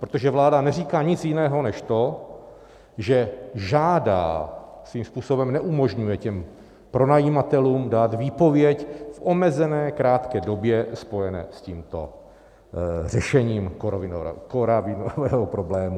Protože vláda neříká nic jiného než to, že žádá, svým způsobem neumožňuje těm pronajímatelům dát výpověď v omezené krátké době spojené s tímto řešením koronavirového problému.